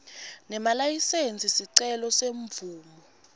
nemalayisensi sicelo semvumo